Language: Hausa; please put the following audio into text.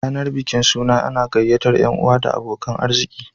Rayanar bikin suna ana gyayyatar yan'uwa da abokanan arziki